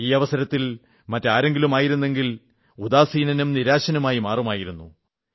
ഈ അവസരത്തിൽ മറ്റാരെങ്കിലുമായിരുന്നെങ്കിൽ ഉദാസീനനും നിരാശനുമായി മാറുമായിരുന്നു